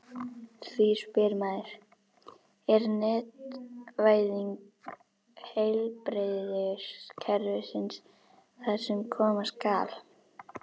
Því spyr maður: Er netvæðing heilbrigðiskerfisins það sem koma skal?